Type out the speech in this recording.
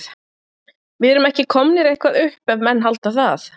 Við erum ekki komnir eitthvað upp ef menn halda það.